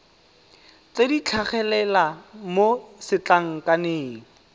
tse di tlhagelela mo setlankaneng